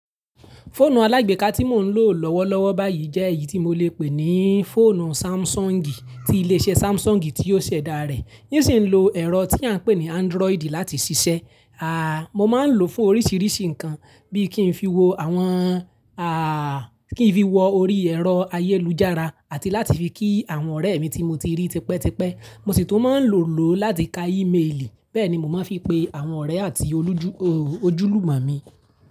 Fóònù alágbeeka tí mò ń lò lọ́wọ́lọ́wọ́ báyìí jẹ́ èyí tí mo lè pè ní fọ́ònù Sámsọ̀ǹgì tí ilé iṣẹ́ Sámsọ̀ǹgì tí ó ṣẹ̀dá rẹ̀, ní ṣìn ń lo ẹ̀rọ tí a ń pè ní Android láti ṣiṣẹ́. Mo máa ń lò fún oríṣìíríṣìí nǹkan bí i kí n fi wo àwọn Kí n fi wo orí ẹ̀rọ ayélujára àti láti fi kí àwọn ọ̀rẹ́ mi tí mo ti rí tipẹ́tipẹ́. Mo sì tún máa n lò ó láti ka ímeèlì, bẹ́ẹ̀ ni mo máa ń fi pe àwọn ọ̀rẹ́ àti ojúlùmo mi.